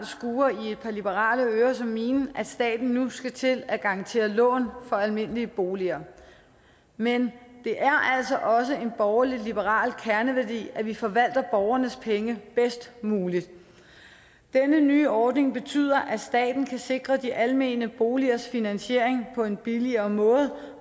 skurrer i et par liberale ører som mine at staten nu skal til at garantere lån for almindelige boliger men det er altså også en borgerlig liberal kerneværdi at vi forvalter borgernes penge bedst muligt denne nye ordning betyder at staten kan sikre de almene boligers finansiering på en billigere måde